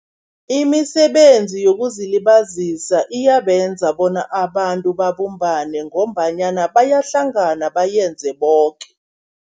Imisebenzi yokuzilibazisa iyabenza bona abantu babumbane, ngombanyana bayahlangana bayenze boke.